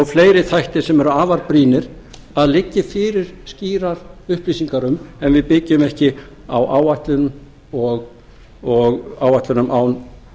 fleiri þætti sem eru afar brýnir að liggi fyrir skýrar upplýsingar um en við byggjum ekki á áætlunum án